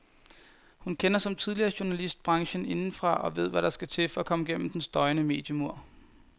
Hun kender, som tidligere journalist, branchen indefra og ved hvad der skal til for at komme gennem den støjende mediemur.